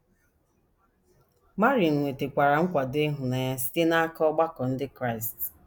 Marin nwetakwara nkwado ịhụnanya site n’aka ọgbakọ ndị Kraịst.